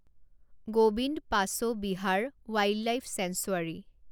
Gobinda Pashu Vihar wildlife sanctuary